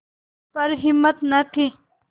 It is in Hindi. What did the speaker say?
पर हिम्मत न थी